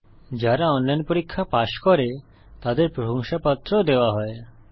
যারা অনলাইন পরীক্ষা পাস করে তাদের প্রশংসাপত্র সার্টিফিকেট ও দেওয়া হয়